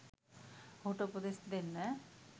ඔහුට උපදෙස් දෙන්න